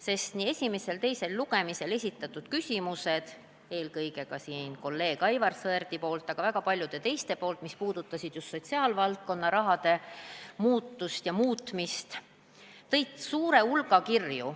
sest nii esimesel kui ka teisel lugemisel esitatud küsimused – eelkõige kolleeg Aivar Sõerdi, aga ka väga paljude teiste küsimused –, mis puudutasid just sotsiaalvaldkonna raha muutust ja muutmist, tõid suure hulga kirju.